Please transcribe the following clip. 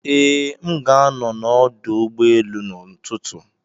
Ee, m ga-anọ n'ọdụ ụgbọ elu n'ụtụtụ.